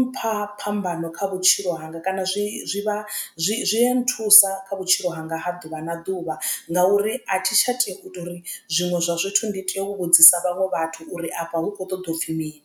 mpha phambano kha vhutshilo vhutshilo hanga kana zwi zwi vha zwi zwi a nthusa kha vhutshilo hanga ha ḓuvha na ḓuvha ngauri a thi tsha tea uri zwiṅwe zwa zwithu ndi tea u vhudzisa vhaṅwe vhathu uri afha hu kho ṱoḓa u pfhi mini.